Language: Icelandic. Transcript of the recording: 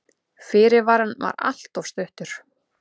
Fyrirvarinn var alltof stuttur.